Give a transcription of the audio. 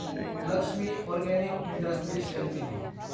Lakshmi organic industries Ltd